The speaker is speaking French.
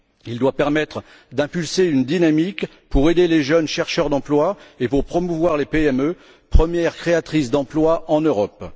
Il doit permettre de créer une dynamique pour aider les jeunes chercheurs d'emploi et pour promouvoir les PME, premières créatrices d'emplois, en Europe.